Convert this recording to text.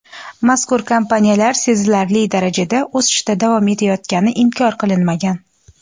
mazkur kompaniyalar sezilarli darajada o‘sishda davom etayotgani inkor qilinmagan.